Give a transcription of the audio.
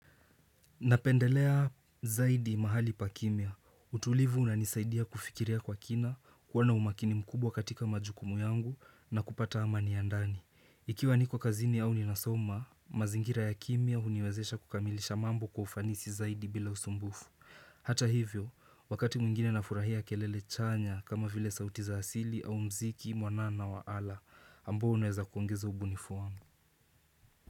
Napendelea zaidi mahali pa kimya. Utulivu unanisaidia kufikiria kwa kina, kuwa na umakini mkubwa katika majukumu yangu na kupata amani ya ndani. Ikiwa niko kazini au ninasoma, mazingira ya kimya huniwezesha kukamilisha mambo kwa ufanisi zaidi bila usumbufu. Hata hivyo, wakati mwingine nafurahia kelele chanya kama vile sauti za asili au muziki mwanana wa ala, ambo unaweza kuongeza ubunifu wangu.